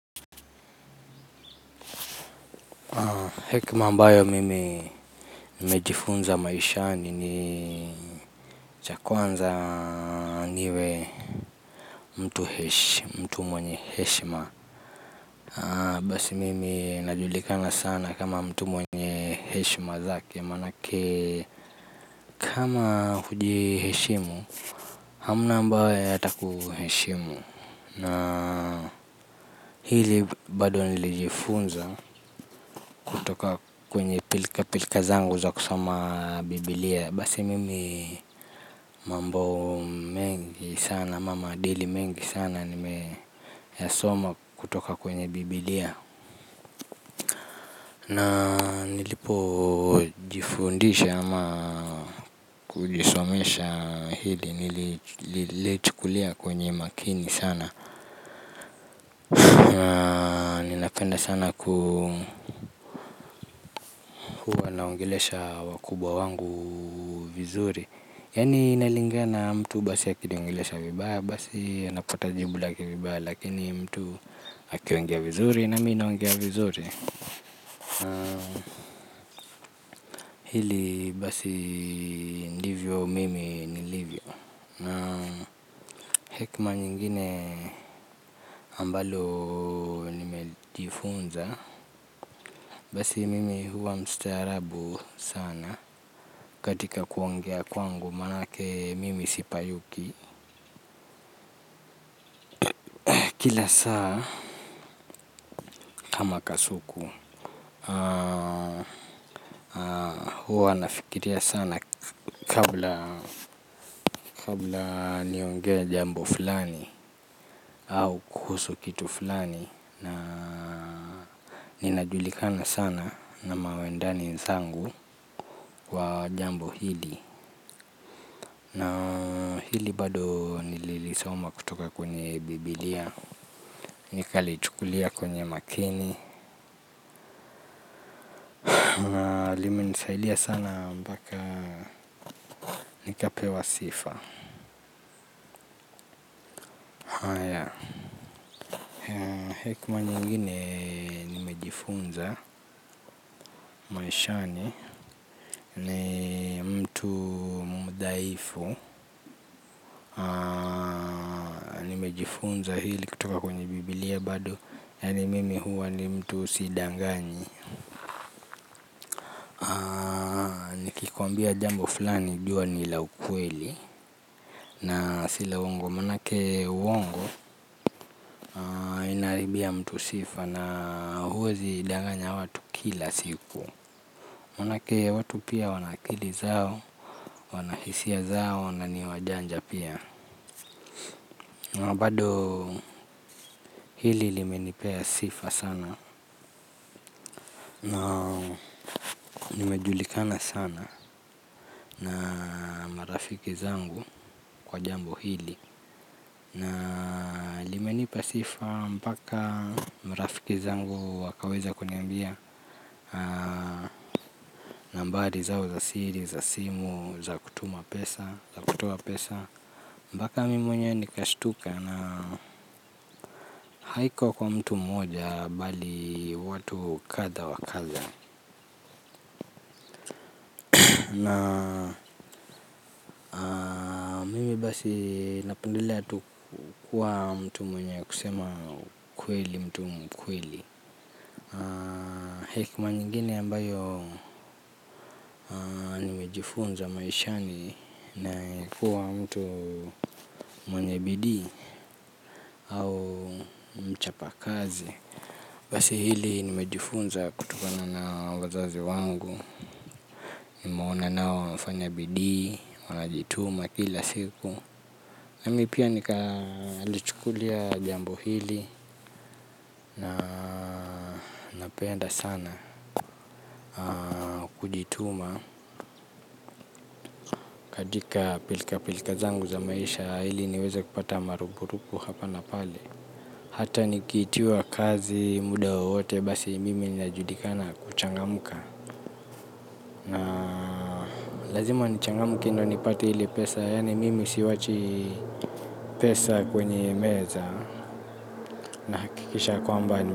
Hekima ambayo mimi nimejifunza maishani ni cha kwanza niwe mtu hesh mtu mwenye heshima. Basi mimi najulikana sana kama mtu mwenye heshima zake manake. Kama huji heshimu hamna ambae ataku heshimu. Na hili bado nilijifunza kutoka kwenye pilika pilika zangu za kusoma biblia. Basi mimi mambo mengi sana ama maadili mengi sana nimeyasoma kutoka kwenye biblia. Na nilipo jifundisha ama kuji somesha hili nililichukulia kwenye makini sana. Napenda sana kuwa naongelesha wakubwa wangu vizuri yani inalingana mtu basi akiniongelesha vibaya basi anapata jibu lake vibaya lakini mtu akiongea vizuri nami naongea vizuri. Hili basi ndivyo mimi nilivyo. Kama nyingine ambalo nimejifunza basi mimi huwa mstaarabu sana. Katika kuongea kwangu manake mimi sipayuki. Kila saa kama kasuku huwa nafikiria sana kabla niongee jambo fulani. Au kuhusu kitu fulani na ninajulikana sana na mawendani nzangu kwa jambo hili. Hili bado nililisoma kutoka kwenye biblia. Nikali chukulia kwenye makini. Na limenisaidia sana mpaka nikapewa sifa. Haya hekima nyingine nimejifunza maishani ni mtu mdhaifu nimejifunza hili kutoka kwenye bibilia bado yani mimi ni mtu sidanganyi nikikuambia jambo fulani jua ni la ukweli. Na sila uongo manake uongo. Inaharibia mtu sifa na huwezi danganya watu kila siku manake watu pia wana akili zao, wana hisia zao na ni wajanja pia na bado hili limenipea sifa sana na nimejulikana sana na marafiki zangu kwa jambo hili na limenipa sifa mpaka marafiki zangu wakaweza kuniambia nambari zao za siri za simu za kutuma pesa, kutoa pesa. Mpaka mi mwenye nikashtuka na haiko kwa mtu moja bali watu kadhaa wa kadhaa na mimi basi napendelea tu kuwa mtu mwenye kusema mtu mkweli hekima nyingine ambayo nimejifunza maishani na kuwa mtu mwenye bidii au mchapa kazi basi hili nimejifunza kutokana na wazazi wangu. Nimeona nao wamefanya bidii, wanajituma kila siku nami pia nikalichukulia jambo hili na ninapenda sana kujituma. Katika pilika pilika zangu za maisha ili niweza kupata marupurupu hapa na pale hata nikiitiwa kazi muda waote basi mimi najulikana kuchangamka. Lazima nichangamke ndio nipate ile pesa, yani mimi siwachi pesa kwenye meza, nahakikisha ya kwamba.